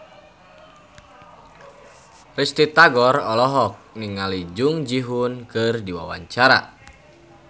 Risty Tagor olohok ningali Jung Ji Hoon keur diwawancara